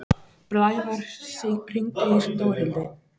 Blævar, hringdu í Dórhildi.